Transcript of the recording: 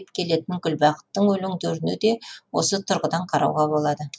келетін гүлбақыттың өлеңдеріне де осы тұрғыдан қарауға болады